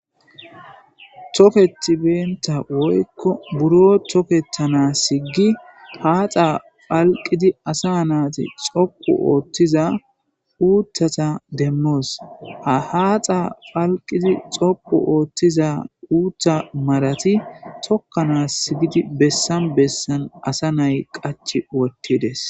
Toketi benta woyko buro toketanasiki pac'a phaliqidi asa nati xoqu othiza uthata demos ha haxa phaliqidi xoqu othiza utha marati tokanas gidi besan besan asa na'ay qachi othides.